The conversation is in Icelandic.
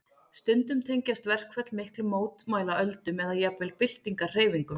Stundum tengjast verkföll miklum mótmælaöldum eða jafnvel byltingarhreyfingum.